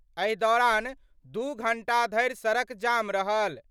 एहि दौरान दू घंटा धरि सड़क जाम रहल।